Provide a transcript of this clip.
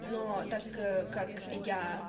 но так как я